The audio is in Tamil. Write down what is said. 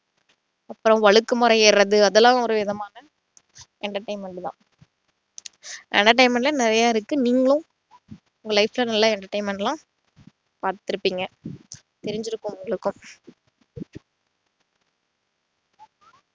அப்புறம் வழுக்கு மரம் ஏறுறது அதெல்லாம் ஒரு விதமான entertainment தான் entertainment ல நிறைய இருக்கு நீங்களும் உங்க life ல நல்லா entertainment லாம் பாத்திருப்பீங்க தெரிஞ்சிருக்கும் உங்களுக்கு